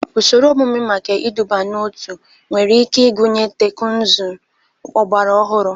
Ụsoro omume maka iduba n'otu nwere ike ịgụnye teknụzụ ọgbara ọhụrụ.